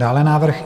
Dále návrh